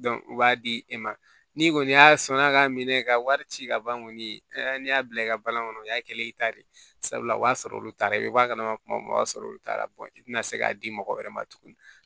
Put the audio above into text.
u b'a di e ma ni kɔni y'a sɔnna k'a minɛ i ka wari ci ka ban kɔni n'i y'a bila i ka balani kɔnɔ o y'a kɛlen i ta de ye sabula o b'a sɔrɔ olu taara i b'a ka na kuma o y'a sɔrɔ olu taara i tina se k'a di mɔgɔ wɛrɛ ma tuguni